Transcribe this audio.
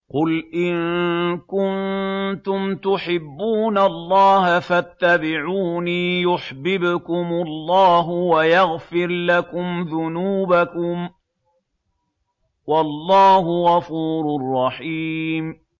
قُلْ إِن كُنتُمْ تُحِبُّونَ اللَّهَ فَاتَّبِعُونِي يُحْبِبْكُمُ اللَّهُ وَيَغْفِرْ لَكُمْ ذُنُوبَكُمْ ۗ وَاللَّهُ غَفُورٌ رَّحِيمٌ